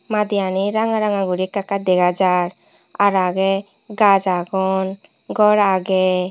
madiyanir ranga ranga guri ekka dega jar aar agey gaaj agon gor agey.